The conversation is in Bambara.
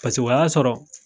Paseke o ya sɔrɔ